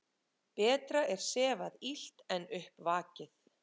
Betra er sefað illt en upp vakið.